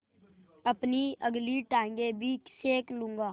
अपनी अगली टाँगें भी सेक लूँगा